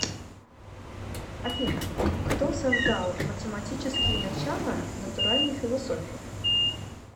афина кто создал математические начала натуральной философии